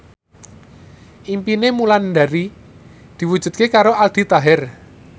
impine Wulandari diwujudke karo Aldi Taher